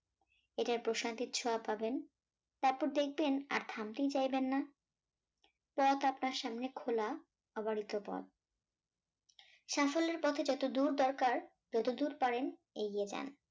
এতে প্রশান্তির ছোঁয়া পাবেন তারপর দেখবেন আর থামতেই চাইবেন না পথ আপনার সামনে খোলা আবার এত পথ সাফল্যের পথে যত দূর দরকার যতদূর পারেন এগিয়ে যান